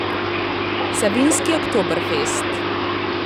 Savinjski oktoberfest.